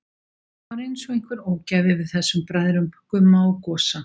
Það var einsog einhver ógæfa yfir þessum bræðrum, Gumma og Gosa.